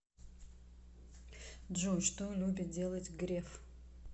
джой что любит делать греф